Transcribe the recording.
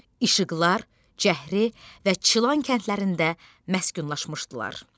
İşıqlar, Cəhri və Çılan kəndlərində məskunlaşmışdılar.